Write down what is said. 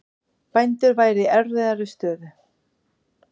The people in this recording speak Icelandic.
Bændur væru í erfiðri stöðu